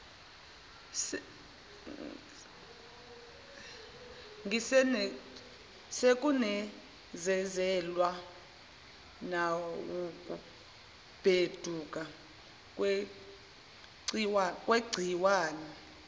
sekunezezelwa nawukubheduka kwegciwane